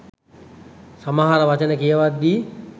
සමහර වචන කියවද්දි.